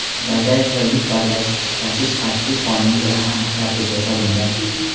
bagaj va yuk bagaj tashish qat’iy qonun bilan aniq tartibga solingan.